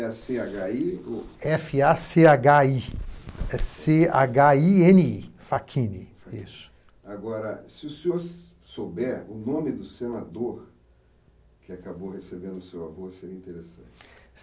É cê agá i? Efe a cê agá i, é, cê agá i ene i, fachini. Isso. Agora, se o senhor souber o nome do senador que acabou recebendo o seu avô, seria interessante.